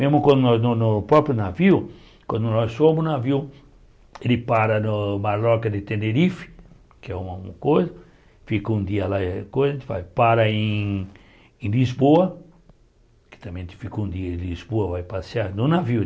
Mesmo quando nós no no próprio navio, quando nós fomos no navio, ele para no Marloca de Tenerife, que é uma coisa, fica um dia lá eh coisa, para em em Lisboa, que também fica um dia em Lisboa, vai passear no navio.